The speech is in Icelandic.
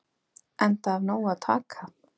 Enda af nógu að taka.